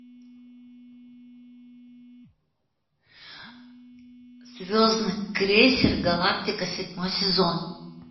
звездный крейсер галактика седьмой сезон